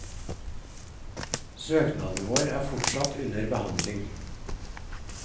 Søknaden vår er fortsatt under behandling.